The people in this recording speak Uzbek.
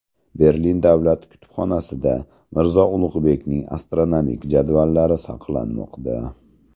Berlin davlat kutubxonasida Mirzo Ulug‘bekning astronomik jadvallari saqlanmoqda.